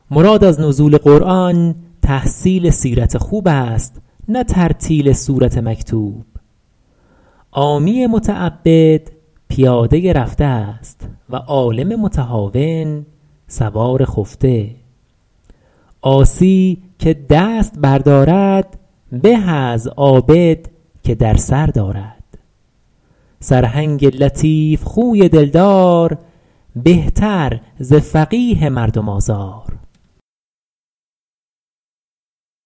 مراد از نزول قرآن تحصیل سیرت خوب است نه ترتیل سورت مکتوب عامی متعبد پیاده رفته است و عالم متهاون سوار خفته عاصی که دست بر دارد به از عابد که در سر دارد سرهنگ لطیف خوی دل دار بهتر ز فقیه مردم آزار